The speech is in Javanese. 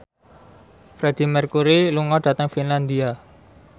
Freedie Mercury lunga dhateng Finlandia